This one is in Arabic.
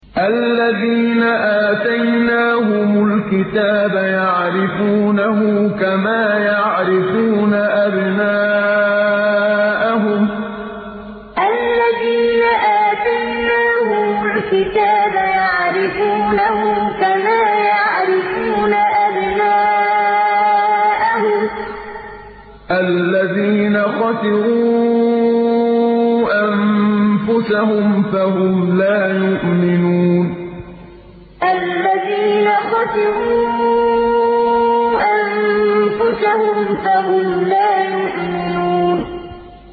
الَّذِينَ آتَيْنَاهُمُ الْكِتَابَ يَعْرِفُونَهُ كَمَا يَعْرِفُونَ أَبْنَاءَهُمُ ۘ الَّذِينَ خَسِرُوا أَنفُسَهُمْ فَهُمْ لَا يُؤْمِنُونَ الَّذِينَ آتَيْنَاهُمُ الْكِتَابَ يَعْرِفُونَهُ كَمَا يَعْرِفُونَ أَبْنَاءَهُمُ ۘ الَّذِينَ خَسِرُوا أَنفُسَهُمْ فَهُمْ لَا يُؤْمِنُونَ